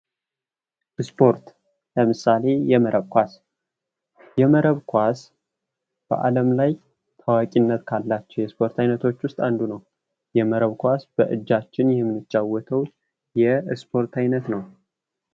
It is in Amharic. ስፖርት ለምሳሌ፦ የመረብ ኳስ የመረብ ኳስ በአለም ላይ ታዋቂነት ካላቸው የስፖርት አይነቶች ውስጥ አንዱ ነው። የመረብ ኳስ በእጃችን የምንጫወተው የስፖርት አይነት ነው።